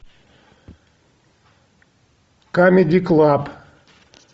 камеди клаб